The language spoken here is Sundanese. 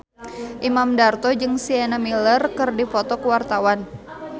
Imam Darto jeung Sienna Miller keur dipoto ku wartawan